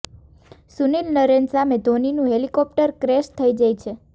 સુનીલ નરેન સામે ધોનીનું helicopter crash થઈ જાય છે